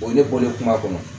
O ye ne bɔlen kuma kɔnɔ